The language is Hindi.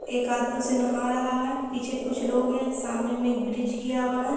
एक आदमी उसे नाहा रहा है पीछे कुछ लोग हैं सामने में एक ब्रिज गया हुआ है।